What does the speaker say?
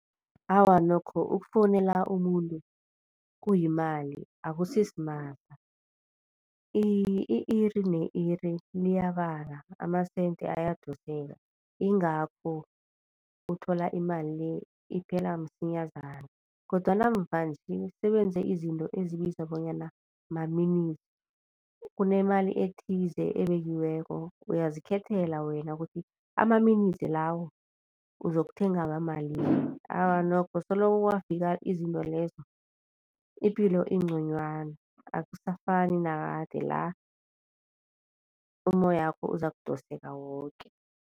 Awa nokho ukufowunela umuntu kuyimali akusisimahla i-iri ne iri liyabala amasente ayadoseka ingakho uthola imali le iphela msinyazana. Kodwana mvanje sebenze izinto ezibizwa bonyana ma-minutes, kunemali ethize ebekiweko uyazikhethela wena ukuthi ama-minutes lawo uzokuthenga wamalimi. Awa nokho soloko kwafika izinto lezo ipilo inconywana akusafani nakade la umoyakho uzakudoseka woke.